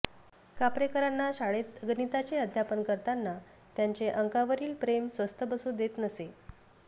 कापरेकरांना शाळेत गणिताचे अध्यापन करताना त्यांचे अंकांवरील प्रेम स्वस्थ बसू देत नसे